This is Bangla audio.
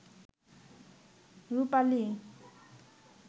রুপালি